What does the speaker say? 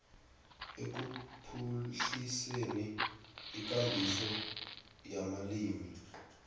ekuphuhliseni ikambiso yamalimi